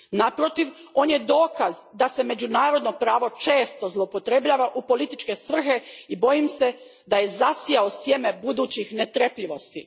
Naprotiv, on je dokaz da se međunarodno pravo često zloupotrebljava u političke svrhe i bojim se da je zasijao sjeme budućih netrpeljivosti.